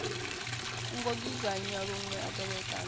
ngo dzudzanywa lune a tevhekana